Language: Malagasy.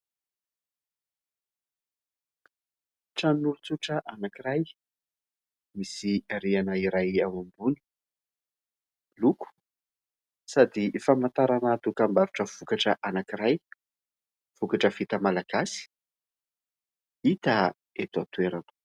Tranon'olontsotra anankiray. Misy rihana iray ao ambony. Miloko sady famantarana dokam-barotra vokatra anankiray, vokatra vita malagasy hita eto an-toerana.